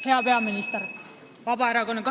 Hea peaminister!